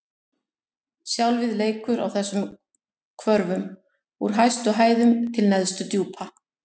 Sjálfið leikur á þessum hvörfum: úr hæstu hæðum til neðstu djúpa.